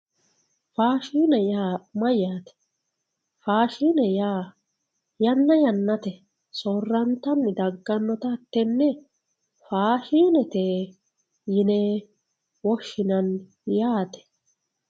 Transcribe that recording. Faashine yaa mayyate, faashine yaa yanna yannate soorantanni daganotta tene faashinete yine woshshinanni yaate.